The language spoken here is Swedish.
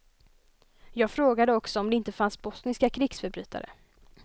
Jag frågade också om det inte fanns bosniska krigsförbrytare.